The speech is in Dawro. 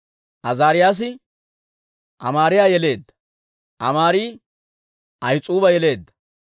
Azaariyaasi Amaariyaa yeleedda; Amaari Ahis'uuba yeleedda;